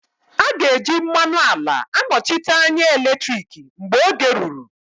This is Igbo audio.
A ga-eji mmanụ ala anọchite anya eletriki mgbe oge ruru